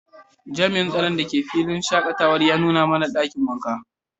jami'in tsaron da ke filin shakatawar ya nuna mana dakin wanka.